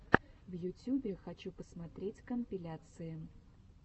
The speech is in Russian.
в ютюбе хочу посмотреть компиляции